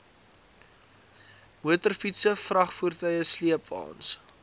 motorfietse vragvoertuie sleepwaens